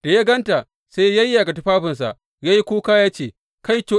Da ya gan ta, sai ya yayyage tufafinsa ya yi kuka ya ce, Kaito!